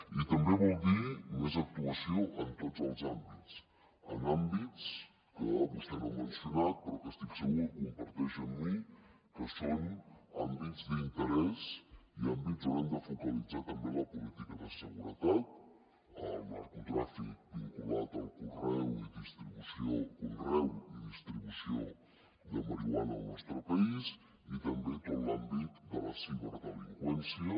i també vol dir més actuació en tots els àmbits en àmbits que vostè no ha mencionat però que estic segur que comparteix amb mi que són àmbits d’interès i àmbits on hem de focalitzar també la política de seguretat el narcotràfic vinculat al conreu i distribució de marihuana al nostre país i també tot l’àmbit de la ciberdelinqüència